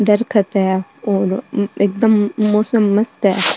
दरखत है और एकदम मौसम मस्त है।